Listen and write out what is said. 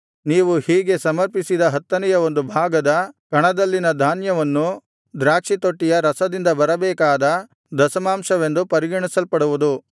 ನೀವು ಹೀಗೆ ಸಮರ್ಪಿಸಿದ ಹತ್ತನೆಯ ಒಂದು ಭಾಗದ ಕಣದಲ್ಲಿನ ಧಾನ್ಯವನ್ನೂ ದ್ರಾಕ್ಷಿತೊಟ್ಟಿಯ ರಸದಿಂದ ಬರಬೇಕಾದ ದಶಮಾಂಶವೆಂದು ಪರಿಗಣಿಸಲ್ಪಡುವುದು